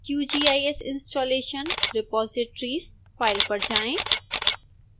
qgis installation repositories file पर जाएं